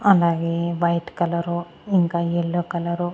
అలాగే white colour ఇంకా yellow colour .